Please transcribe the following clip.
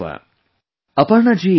Aparna ji is right too